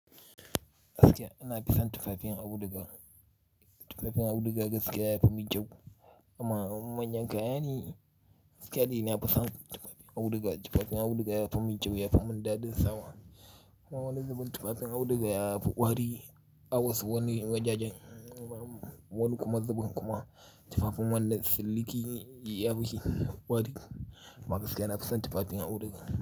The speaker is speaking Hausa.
Gaskiya ina fi saa tufaafiin audugaa, tufaafiin audugaa gaskiya ya fi min kyau amma in manyan kaya ne gaskiya dai na fi son tufafin auduga tufafin auduga ya fi min kyau, ya fi min dadin sawa. A wani zubin tufafin auduga ya fi kwari a wasu wanni wajejen, wani kuma zubin kuma, tufafin wannan siliki ne ya fi kwari. Ama gaskiya na fi son tufafin auduga.